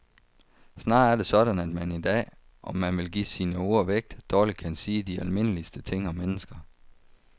Snarere er det sådan at man i dag, om man vil give sine ord vægt, dårligt kan sige de almindeligste ting om mennesker.